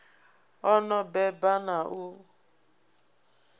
o no beba na u